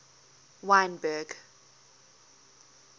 wynberg